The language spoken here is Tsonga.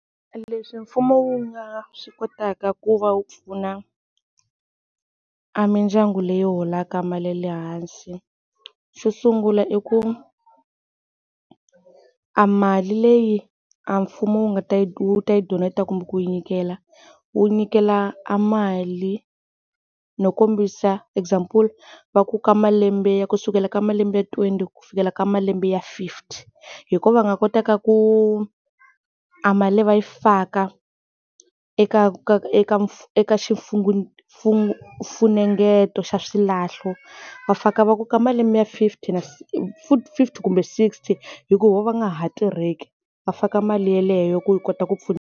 Leswi mfumo wu nga swi kotaka ku va wu pfuna a mindyangu leyi holaka mali ya le hansi xo sungula i ku, a mali leyi a mfumo wu nga ta yi wu ta yi donator kumbe ku yi nyikela, wu nyikela a mali no kombisa example va ku ka malembe ya ku kusukela ka malembe twenty ku fikela ka malembe ya fifty hi kona va nga kotaka ku a mali leyi va yi faka eka ka ka eka eka xifunengeto xa swilahlo va faka va ku ka malembe ya fifty futhi fifty kumbe sixty hi ku hi vona va nga ha tirheki va faka mali yaleyo ku yi kota ku .